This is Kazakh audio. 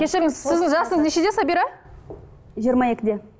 кешіріңіз сіздің жасыңыз нешеде сабира жиырма екіде